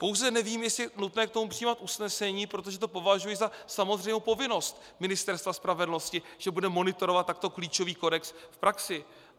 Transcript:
Pouze nevím, jestli je nutné k tomu přijímat usnesení, protože to považuji za samozřejmou povinnost Ministerstva spravedlnosti, že bude monitorovat takto klíčový kodex v praxi.